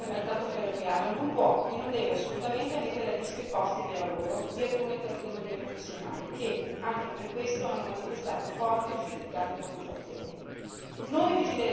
La liberalizzazione del mercato ferroviario non può e non deve assolutamente mettere a rischio i posti di lavoro di alcune categorie professionali che, anche per questo, hanno manifestato forti e giustificate preoccupazioni.